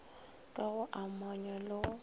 ka go amanywa le go